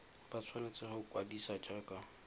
ba tshwanetse go ikwadisa jaaka